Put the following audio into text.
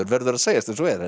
verður að segjast eins og er